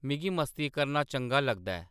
मिगी मस्ती करना चंगा लगदा ऐ